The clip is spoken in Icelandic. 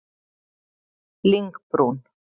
Lyngbrún